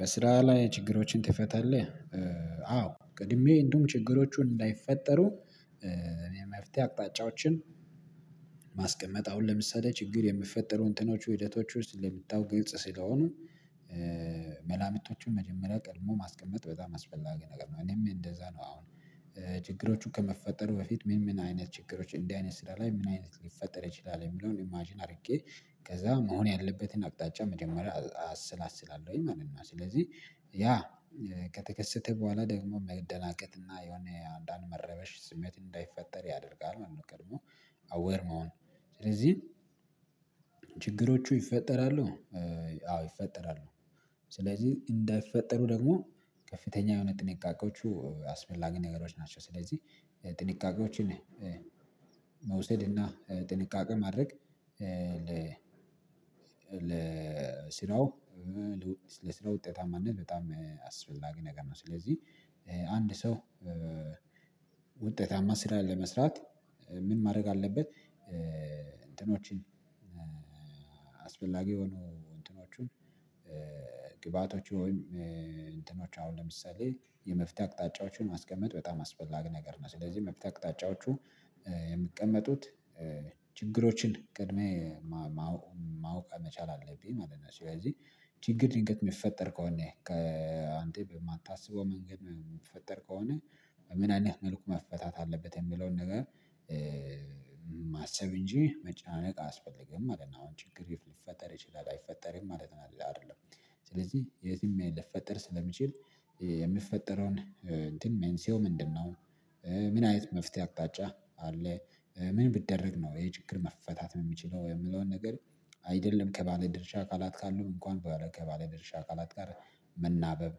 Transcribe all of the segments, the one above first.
በስራ ላይ ችግሮችን ትፈታለህ? አዎ ቀድሜ እንደውም ችግሮቹን እንዳይፈጠሩ እኔ መፍትሄ አቅጣጫዎችን ማስቀመጥ አሁን ለምሳሌ ችግር የምፈጠሩ እንትኖቹ ሂደቶች ውስጥ ስለምታወቁ ግልጽ ስለሆኑ መላምቶቹን መጀመሪያ ቀድሞ ማስቀመጥ በጣም አስፈላጊ ነገር ነው። እኔም እንደዛ ነው አሁን ችግሮቹን ከመፈጠሩ በፊት ምን ምን አይነት ችግሮችን እንዲህ አይነት ስራ ላይ ምን አይነት ሊፈጠር ይችላል የሚለውን ኢማጅን አድርጌ ከዛ መሆን ያለበትን አቅጣጫ መጀመሪያ አሰላስላለሁኝ ማለት ነው። ስለዚህ ያ ከተከሰተ በኋላ ደግሞ መደናገጥና የሆነ አንዳንድ መረበሽ ስሜት እንዳይፈጠር ያደርጋል ማለት ነው። ቀድሞ አዌር መሆን ስለዚህ ችግሮቹ ይፈጠራሉ። አዎ ይፈጠራሉ። ስለዚህ እንዳይፈጠሩ ደግሞ ከፍተኛ የሆነ ጥንቃቄዎቹ አስፈላጊ ነገሮች ናቸው። ስለዚህ ጥንቃቄዎችን መውሰድና ጥንቃቄ ማድረግ ለስራው ለስራው ውጤታማነት በጣም አስፈላጊ ነገር ነው። ስለዚህ አንድ ሰው ውጤታማ ስራ ለመስራት ምን ማድረግ አለበት? እንትኖችን አስፈላጊ የሆኑ እንትኖቹን ግብአቶች ወይም እንትኖች አሁን ለምሳሌ የመፍትሄ አቅጣጫዎችን ማስቀመጥ በጣም አስፈላጊ ነገር ነው። ስለዚህ መፍትሄ አቅጣጫዎቹ የምቀመጡት ችግሮችን ቀድሜ ማወቅ ማወቅ መቻል አለብ ማለት ነው። ስለዚህ ችግር ልገጥም የሚፈጠር ከሆነ ከአንተ የማታስበው መንገድ ምፈጠር ከሆነ ምን አይነት መልኩ መፈታት አለበት የሚለውን ነገር ማሰብ እንጂ መጨናነቅ አያስፈልግም ማለት ነው። አሁን ችግር ሊፈጠር ይችላል አይፈጠርም ማለት ነው። አይደለም ስለዚህ የትም ልፈጠር ስለሚችል የምፈጠረውን እንትን ሜንሲዮ ምንድነው? ምን አይነት መፍትሄ አቅጣጫ አለ ምን ብደረግ ነው ይሄ ችግር መፈታት ነው የሚችለው የምለውን ነገር። አይደለም ከባለድርሻ አካላት ካሉም እንኳን ከባለድርሻ አካላት ጋር መናበብ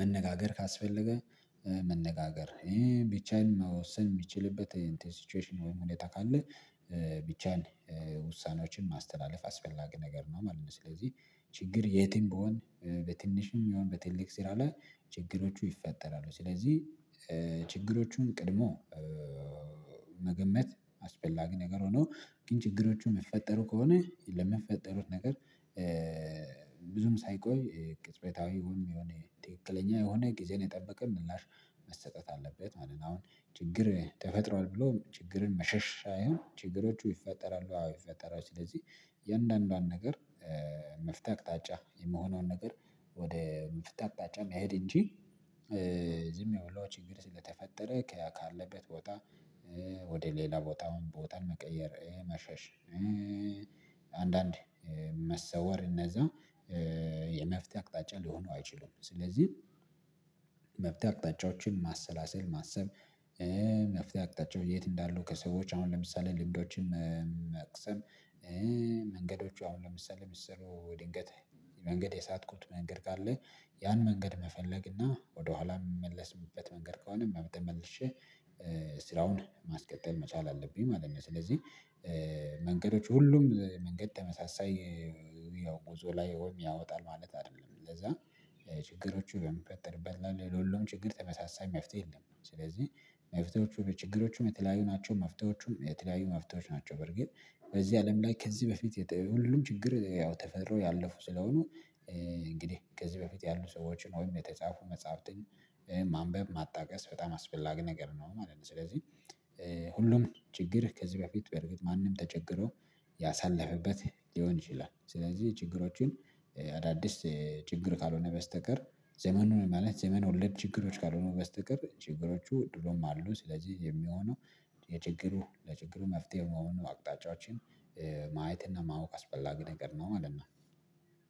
መነጋገር ካስፈለገ መነጋገር ይሄን ቢቻል መወሰን የሚችልበት ሲቹዌሽን ወይም ሁኔታ ካለ ቢቻል ውሳኔዎችን ማስተላለፍ አስፈላጊ ነገር ነው። ማለት ነው ስለዚህ ችግር የትም ቢሆን በትንሽም የሚሆን በትልቅ ሲል አለ ችግሮቹ ይፈጠራሉ ስለዚህ ችግሮቹን ቀድሞ መገመት አስፈላጊ ነገር ሆኖ ግን ችግሮቹ የሚፈጠሩ ከሆነ ለምፈጠሩት ነገር ብዙም ሳይቆይ ቅጽበታዊ ወይም የሆነ ትክክለኛ የሆነ ጊዜን የጠበቀ ምላሽ መሰጠት አለበት ማለት ነው። አሁን ችግር ተፈጥሯል ብሎ ችግርን መሸሻ ሳይሆን ችግሮቹ ይፈጠራሉ አዎ ይፈጠራሉ። ስለዚህ እያንዳዋንዱዋን ነገር መፍቴ አቅጣጫ የምሆኔውን ነገር ወደ መፍቴ አቅጣጫ መሄድ እንጂ ዝም ብሎ ችግር ስለተፈጠረ ካለበት ቦታ ወደ ሌላ ቦታውም ቦታን መቀየር መሸሽ አንዳንድ መሰወር እነዛ የመፍትሄ አቅጣጫ ሊሆነው አይችልም። ስለዚህ መፍትሄ አቅጣጫዎችን ማሰላሰል ማሰብ መፍትሄ አቅጣጫው የት እንዳሉ ከሰዎች አሁን ለምሳሌ ልምዶችን መቅሰም መንገዶቹ አሁን ለምሳሌ ምሰሩ ድንገት መንገድ የሳትኩት መንገድ ካለ ያን መንገድ መፈለግ እና ወደኋላ የምመለስምበት መንገድ ከሆነ በመጠን መልሼ ስራውን ማስቀጠል መቻል አለብኝ ማለት ነው። ስለዚህ መንገዶች ሁሉም መንገድ ተመሳሳይ ያው ጉዞ ላይ ወይም ያወጣል ማለት አይደለም ለዛ ችግሮቹ በሚፈጠርበት ለሁሉም ችግር ተመሳሳይ መፍትሄ የለም። ስለዚህ መፍትሄዎቹ በችግሮቹም የተለያዩ ናቸው መፍትሄዎቹም የተለያዩ መፍትሄዎች ናቸው። በርግጥ በዚህ አለም ላይ ከዚህ በፊት ሁሉንም ችግር ያው ተፈራው ያለፉ ስለሆኑ እንግዲህ ከዚህ በፊት ያሉ ሰዎችን ወይም የተጻፉ መጽሐፍትን ማንበብ ማጣቀስ በጣም አስፈላጊ ነገር ነው ማለት ነው። ስለዚህ ሁሉም ችግርህ ከዚህ በፊት በእርግጥ ማንም ተቸግሮ ያሳለፈበት ሊሆን ይችላል። ስለዚህ ችግሮችን አዳዲስ ችግር ካልሆነ በስተቀር ዘመኑ ማለት ዘመን ወለድ ችግሮች ካልሆኑ በስተቀር ችግሮቹ ድሮም አሉ። ስለዚህ የሚሆነው የችግሩ ለችግሩ መፍትሄው መሆኑን አቅጣጫዎችን ማየት እና ማወቅ አስፈላጊ ነገር ነው ማለት ነው።